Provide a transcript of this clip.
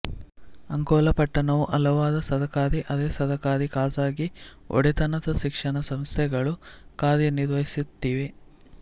ಅಂಕೋಲಾ ಪಟಣ್ಣವು ಹಲವಾರು ಸರಕಾರಿ ಅರೆಸರಕಾರಿ ಖಾಸಗಿ ಒಡೆತನದ ಶಿಕ್ಷಣ ಸಂಸ್ಥೆಗಳು ಕಾರ್ಯ ನಿರ್ವಹಿಸುತ್ತಿವೆ